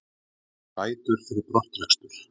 Fær bætur fyrir brottrekstur